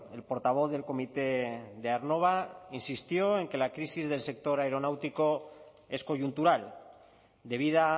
el portavoz del comité de aernnova insistió en que la crisis del sector aeronáutico es coyuntural debida